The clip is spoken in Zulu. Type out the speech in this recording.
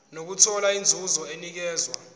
nokuthola inzuzo enikezwa